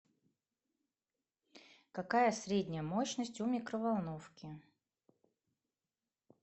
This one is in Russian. какая средняя мощность у микроволновки